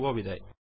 শুভবিদায়